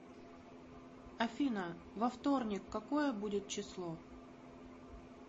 афина во вторник какое будет число